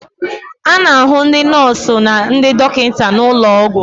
A na-ahụ ndị nọọsụ na ndị dọkịta n'ụlọ ọgwụ.